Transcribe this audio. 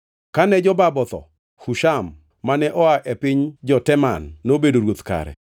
Kane Jobab otho, Husham mane oa e piny jo-Teman nobedo ruoth kare.